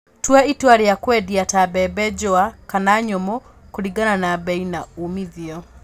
Tua itua rĩa kwendia ta mbembe njũa kana nyũmu kũlingana na bei na umithio